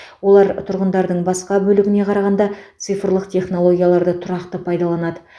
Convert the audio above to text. олар тұрғындардың басқа бөлігіне қарағанда цифрлық технологияларды тұрақты пайдаланады